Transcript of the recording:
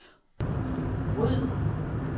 ryd